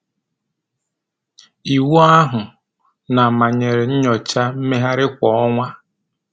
Iwu ahụ na-manyere nnyocha mmegharị kwa ọnwa.